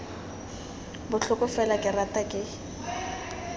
botlhoko fela ke rata ke